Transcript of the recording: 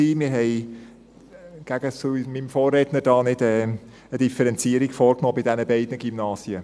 Wir machen entgegen unserem Vorredner nicht eine Differenzierung bei diesen beiden Gymnasien.